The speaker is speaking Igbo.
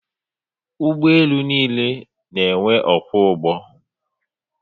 Ugboelu n'iile n'enwe ọkwọ ụgbọ